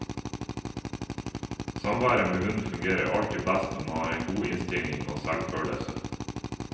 Samværet med hund fungerer alltid best når man har en god innstilling og selvfølelse.